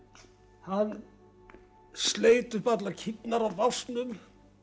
hann sleit upp allar kýrnar af básnum